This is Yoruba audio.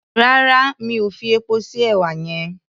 Rárá mi ò fi epo sí èwà yẹn.